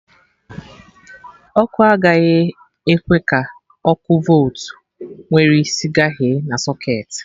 Ọkụ a agaghị ekwe ka ọkụ voltu nwere isi gaghe na socketị